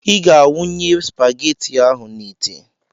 Ị ga a wụnye spageti ahụ n'itè!